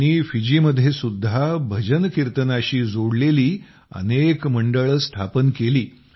त्यांनी फिजीमध्येसुद्धा भजन कीर्तनाशी जोडलेली अनेक मंडळं स्थापन केली